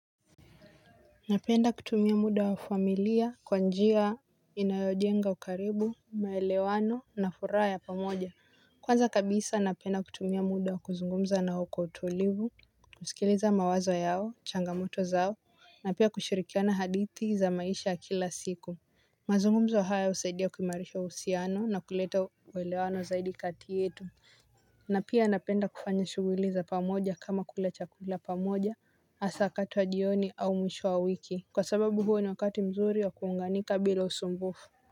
Napenda kutumia muda wa familia kwa njia inayojenga ukaribu, maelewano na furaha ya pamoja. Kwanza kabisa napenda kutumia muda wa kuzungumza nao kwa utulivu, kusikiliza mawazo yao, changamoto zao, na pia kushirikiana hadithi za maisha kila siku. Mazungumzo haya husaidia kuimarisha uhusiano na kuleta uelewano zaidi kati yetu. Na pia napenda kufanya shuguli za pamoja kama kula chakula pamoja hasa wakati wa jioni au mwisho wa wiki kwa sababu huo ni wakati mzuri wa kuunganika bila usumbufu.